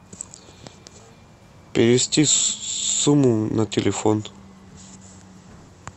перевести сумму на телефон